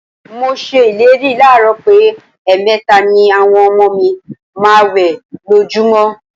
Mo s̩e ìlérí láàárò̩ pé è̩è̩me̩ta ni àwo̩n o̩mo̩ mi ma máa wè̩ lójúmó̩.